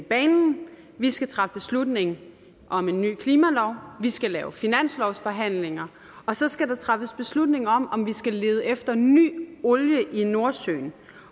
banen vi skal træffe beslutning om en ny klimalov vi skal lave finanslovsforhandlinger og så skal der træffes beslutning om om vi skal lede efter ny olie i nordsøen